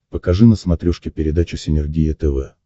покажи на смотрешке передачу синергия тв